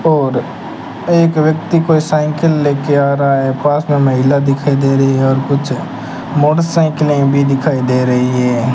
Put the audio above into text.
और एक व्यक्ति को साइकिल लेके आ रहा है पास में महिला दिखाई दे रही है और कुछ मोटरसाइकिले भी दिखाई दे रही है।